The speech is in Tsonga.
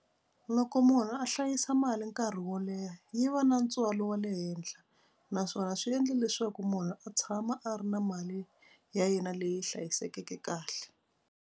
Loko munhu a hlayisa mali nkarhi wo leha yi va na ntswalo wa le henhla naswona swi endle leswaku munhu a tshama a ri na mali ya yena leyi hlayisekeke kahle.